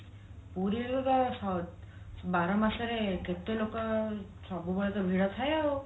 ପୁରୀରେ ତ ବାର ମାସରେ କେତେ ଲୋକ ସବୁବେଳେ ତ ଭିଡ ଥାଏ ଆଉ